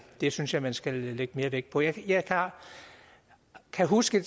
det synes jeg man skal lægge mere vægt på jeg kan huske